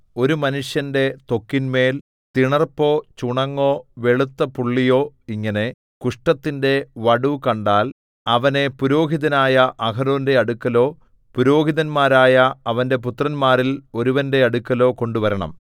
ഒരു മനുഷ്യന്റെ ത്വക്കിന്മേൽ തിണർപ്പോ ചുണങ്ങോ വെളുത്ത പുള്ളിയോ ഇങ്ങനെ കുഷ്ഠത്തിന്റെ വടു കണ്ടാൽ അവനെ പുരോഹിതനായ അഹരോന്റെ അടുക്കലോ പുരോഹിതന്മാരായ അവന്റെ പുത്രന്മാരിൽ ഒരുവന്റെ അടുക്കലോ കൊണ്ടുവരണം